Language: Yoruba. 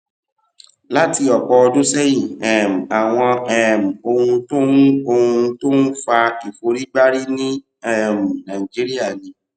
láti òpò ọdún séyìn um àwọn um ohun tó ń ohun tó ń fa ìforígbárí ní um nàìjíríà ni